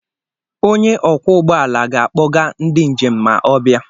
Onye ọkwọ ụgbọ ala ga-akpọ ndị njem ma ọ bịa.